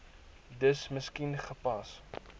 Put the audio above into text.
dis miskien gepas